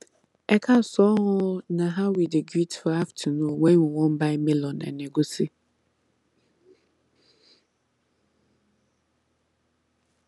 ekaasan o na how we dey greet for afternoon when we wan buy melon and egusi